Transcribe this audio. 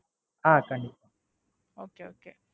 Okay okay